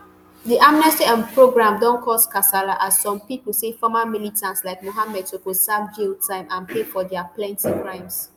di amnesty um programme don cause kasala as some pipo say former militants like muhammad suppose serve jail time and pay for dia plenti crimes